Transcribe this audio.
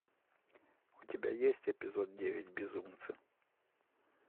у тебя есть эпизод девять безумцы